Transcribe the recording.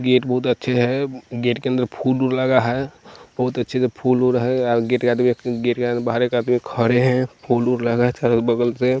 Gate बहुत अच्छे है गेट के अंदर फूल-वूल लगा है बहुत अच्छे से फूल-वूल है आ गेट के आदमी गेट आगे बाहर एक आदमी खड़े है फूल-वूल लगा है चारो बगल से।